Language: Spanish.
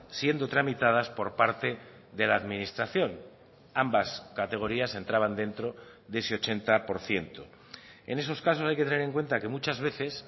siendo tramitadas por parte de la administración ambas categorías entraban dentro de ese ochenta por ciento en esos casos hay que tener en cuenta que muchas veces